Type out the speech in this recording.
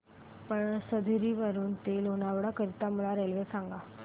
पळसधरी वरून ते लोणावळा करीता मला रेल्वे सांगा